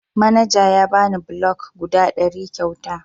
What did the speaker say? Manaja ya bani bulok guda ɗari kyauta.